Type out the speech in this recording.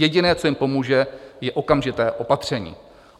Jediné, co jim pomůže, je okamžité opatření.